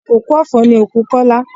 Òkú ọ̀fọ̀ ni òkú Kola